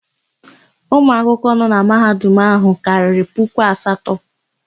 Ụmụ akwụkwọ nọ na Mahadum áhụ̀ karịrị puku asatọ.